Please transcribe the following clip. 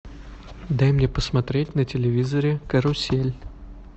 дай мне посмотреть на телевизоре карусель